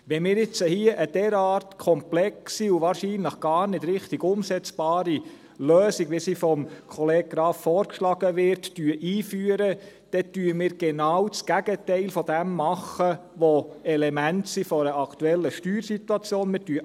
Wenn wir jetzt hier eine derart komplexe und wahrscheinlich gar nicht richtig umsetzbare Lösung, wie sie vom Kollegen Graf vorgeschlagen wird, einführen, dann machen wir genau das Gegenteil dessen, was die Elemente der aktuellen Steuersituation sind.